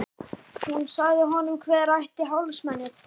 Hún sagði honum hver ætti hálsmenið.